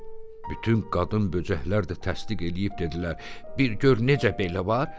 Bütün qadın böcəklər də təsdiq eləyib dedilər: “Bir gör necə belə var.